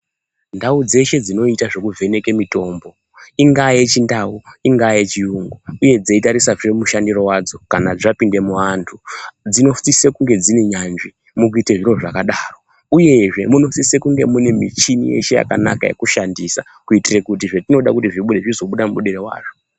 Ndau dzeshe dzinoita zvekuvheneke mitombo ingaa yeChiNdau, ingaa yeChiyungu uyezve dzeitarisazve mushandiro wadzo kana zvapinde muantu, dzinosise kunge dziri nyanzvi mukuite zviro zvakadaro, uyezve munosise kunge mune michini yeshe yakanaka yekushandisa, kuitire kuti zvetinode kuti zvibude zvizobuda mubudire wazvo.